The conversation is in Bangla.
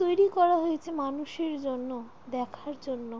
তৈরি করা হয়েছে মানুষ এর জন্য দেখার জন্য।